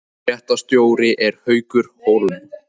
Fréttastjóri er Haukur Hólm